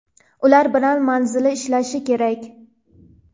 ular bilan manzilli ishlashi kerak.